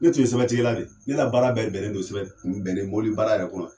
Ne tun sɛbɛntigɛla de ye ne ka baara bɛɛ bɛnnen don sɛbɛn bɛnnen mobili baara yɛrɛ kɔnɔ